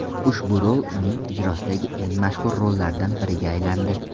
Ushbu rol uning ijrosidagi eng mashhur rollardan biriga aylandi.